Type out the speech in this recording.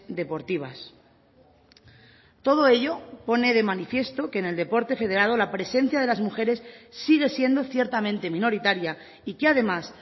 deportivas todo ello pone de manifiesto que en el deporte federado la presencia de las mujeres sigue siendo ciertamente minoritaria y que además